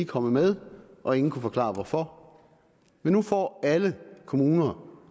kommet med og ingen kunne forklare hvorfor men nu får alle kommuner